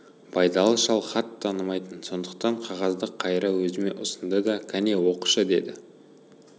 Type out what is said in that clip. байдалы шал хат танымайтын сондықтан қағазды қайыра өзіме ұсынды да кәне оқышы деді